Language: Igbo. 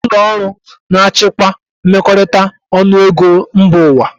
Kedụ ụlọọrụ na-achịkwa mmekọrịta ọnụego mba ụwa?